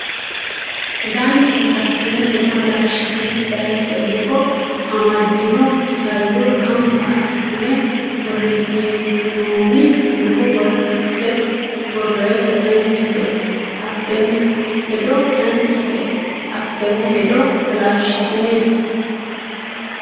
Danchate hattenne hedo halashshitine sase gufo amaddino isayyo gamba assitine borreessitinoonni gufo borreesse Danchate hattenne hedo Danchate hattenne hedo halashshitine.